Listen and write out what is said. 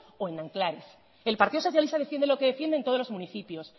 o en nanclares el partido socialista defiende lo que defiende en todos los municipios